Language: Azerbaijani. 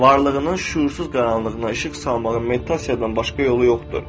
Varlığının şüursuz qaranlığına işıq salmağın meditasiyadan başqa yolu yoxdur.